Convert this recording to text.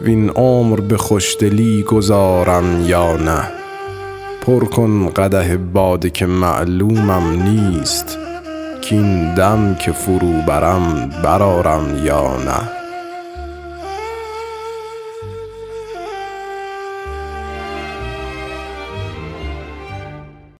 وین عمر به خوشدلی گذارم یا نه پر کن قدح باده که معلومم نیست کاین دم که فرو برم برآرم یا نه